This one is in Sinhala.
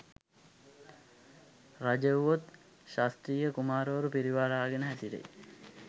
රජ වුවොත් ක්‍ෂත්‍රිය කුමාරවරු පිරිවරාගෙන හැසිරේ.